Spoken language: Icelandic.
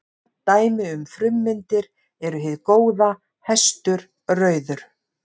Dæmi um frummyndir eru hið góða, hestur, rauður.